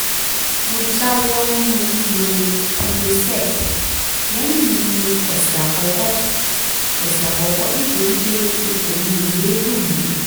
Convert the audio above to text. mo jáwọ́ nínú lílo prilosec lẹ́yìn ọ̀sẹ̀ àkọ́kọ́ ọ̀sẹ̀ àkọ́kọ́ nítorí pé ikùn mi ò yéé dùn mí